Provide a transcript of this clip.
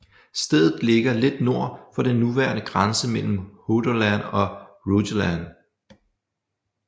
Stedet ligger lidt nord for den nuværende grænse mellem Hordaland og Rogaland